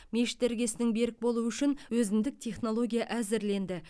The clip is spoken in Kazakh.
мешіт іргесінің берік болуы үшін өзіндік технология әзірленді